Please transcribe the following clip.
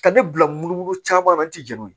Ka ne bila mun caman na an tɛ jɛn n'o ye